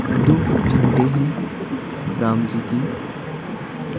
दो झंडे हैं राम जी की --